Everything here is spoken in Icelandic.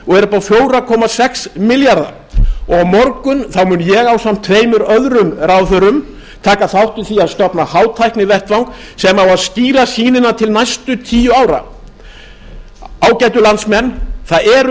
á fjóra komma sex milljarða á morgun mun ég ásamt tveim öðrum ráðherrum taka þátt í því að stofna hátæknivettvang sem á að skýra sýnina til næstu tíu ára ágætu landsmenn það eru